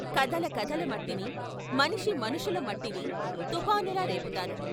కథల కథల మట్టిని, మనిషి మనుషుల మట్టిని తుపానులా రేపుతాను.